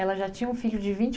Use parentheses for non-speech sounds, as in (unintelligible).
Ela já tinha um filho de vinte (unintelligible)